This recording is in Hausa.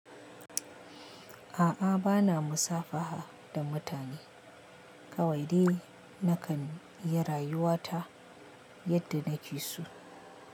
A'a bana musafaha da mutane. Kawai dai nakan yi rayuwa ta yadda nake so.